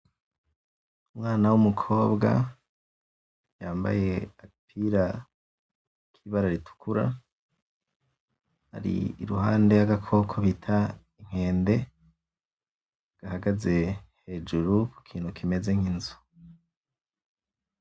Umwana w'umukobwa, yambaye agapira k'ibara ritukura ari iruhande y'agakoko bita inkende gahagaze hejuru ku kintu kimeze nk'inzu.